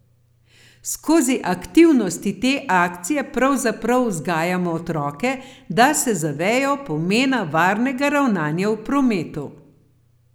Skozi aktivnosti te akcije pravzaprav vzgajamo otroke, da se zavejo pomena varnega ravnanja v prometu.